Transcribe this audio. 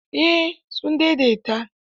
Eh sun daidaita.